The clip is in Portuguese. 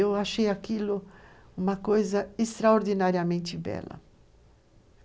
Eu achei aquilo uma coisa extraordinariamente bela.